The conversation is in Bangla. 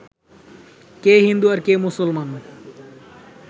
কে হিন্দু আর কে মুসলমান